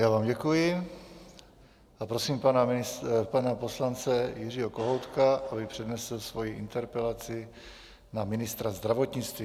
Já vám děkuji a prosím pana poslance Jiřího Kohoutka, aby přednesl svoji interpelaci na ministra zdravotnictví.